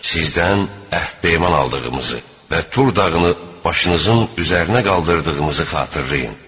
Sizdən əhd-peyman aldığımızı və Tur dağını başınızın üzərinə qaldırdığımızı xatırlayın.